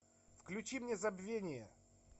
включи мне забвение